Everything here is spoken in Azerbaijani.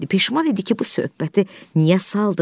Peşman idi ki, bu söhbəti niyə saldı?